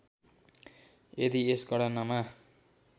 यदि यस गणनामा